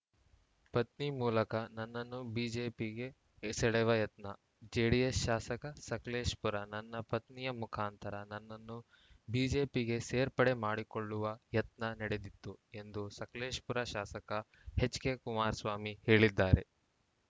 ಪತ್ನಿ ಮೂಲಕ ನನ್ನನ್ನು ಬಿಜೆಪಿಗೆ ಸೆಳೆವ ಯತ್ನ ಜೆಡಿಎಸ್‌ ಶಾಸಕ ಸಕಲೇಶಪುರ ನನ್ನ ಪತ್ನಿಯ ಮುಖಾಂತರ ನನ್ನನ್ನು ಬಿಜೆಪಿಗೆ ಸೇರ್ಪಡೆ ಮಾಡಿಕೊಳ್ಳುವ ಯತ್ನ ನಡೆದಿತ್ತು ಎಂದು ಸಕಲೇಶಪುರ ಶಾಸಕ ಎಚ್‌ಕೆ ಕುಮಾರಸ್ವಾಮಿ ಹೇಳಿದ್ದಾರೆ